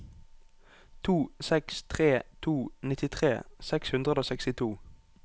to seks tre to nittitre seks hundre og sekstito